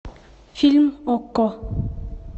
фильм окко